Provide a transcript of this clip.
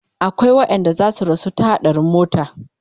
akwai waƴanda zasu rasu ta haɗarin mota